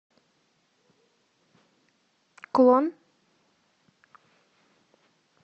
клон